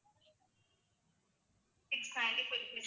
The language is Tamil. six ninety-five rupees